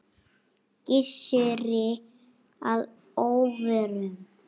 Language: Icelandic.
Gissuri að óvörum.